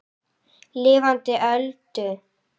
Lifandi Öldu.